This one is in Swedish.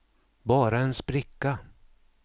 bara en spricka